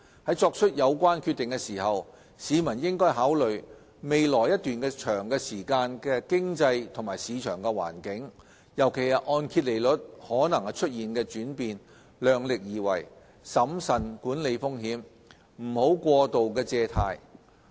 在作出有關決定時，市民應考慮未來一段長時間的經濟及市場環境，尤其是按揭利率可能出現的轉變，量力而為，審慎管理風險，不要過度借貸。